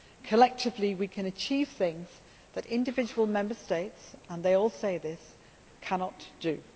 Collectively we can achieve things that individual Member States and they all say this cannot do.